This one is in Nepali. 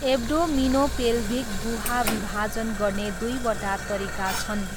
एब्डोमिनोपेल्भिक गुहा विभाजन गर्ने दुईवटा तरिका छन्।